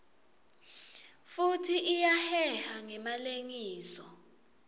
futsi iyaheha ngemalengiso